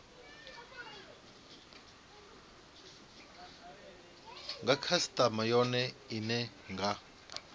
nga khasitama yone ine nga